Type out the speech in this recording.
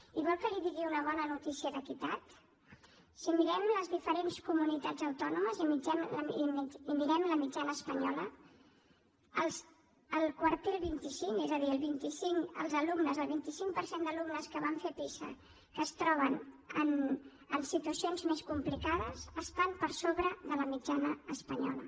i vol que li digui una bona notícia d’equitat si mirem les diferents comunitats autònomes i mirem la mitjana espanyola el quartil vint cinc és a dir el vint cinc per cent d’alumnes que van fer pisa que es troben en situacions més complicades estan per sobre de la mitjana espanyola